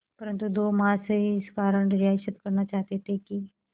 परंतु दो महाशय इस कारण रियायत करना चाहते थे कि